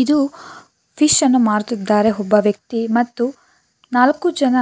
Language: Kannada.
ಇದು ಫಿಶ್ ಅನ್ನು ಮಾರುತ್ತಿದ್ದಾರೆ ಒಬ್ಬ ವ್ಯಕ್ತಿ ಮತ್ತು ನಾಲ್ಕು ಜನ